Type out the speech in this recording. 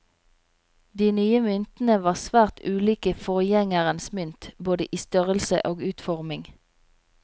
De nye myntene var svært ulike forgjengerens mynt, både i størrelse og utforming.